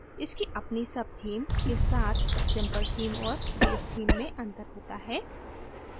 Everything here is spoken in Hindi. इसकी अपनी subtheme के साथ simple theme और basetheme में अंतर होता है